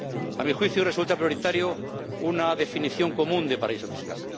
A mi juicio, resulta prioritaria una definición común de paraíso fiscal.